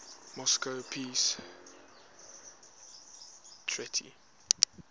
moscow peace treaty